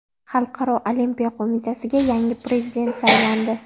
Xalqaro Olimpiya Qo‘mitasiga yangi prezident saylandi.